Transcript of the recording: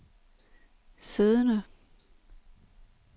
siddende